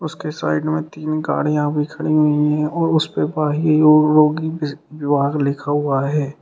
उसके साइड में तीन गाड़ियां भी खड़ी हुई है और उसपे बाह्य रोगी वि विभाग लिखा हुआ है।